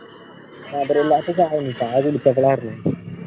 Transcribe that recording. മധുരില്ലാത്ത ചായ ആണുട്ടാ ആരു